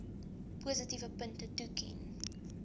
positiewe punte toeken